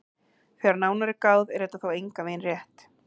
Þegar nánar er að gáð er þetta þó engan veginn rétt.